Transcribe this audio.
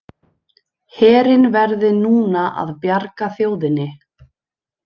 Herinn verði núna að bjarga þjóðinni